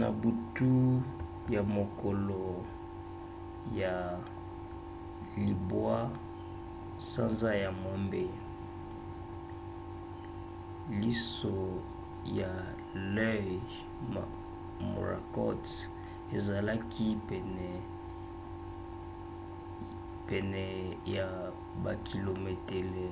na butu ya mokolo ya 9 sanza ya mwambe liso ya l'œil morakot ezalaki pene ya bakilometele